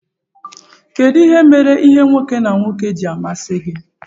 kedu ihe mere ìhè nwoke na nwoke ji amasi gi?